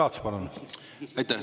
Aitäh!